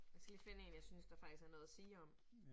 Jeg skal lige finde 1, jeg synes, der faktisk er noget at sige om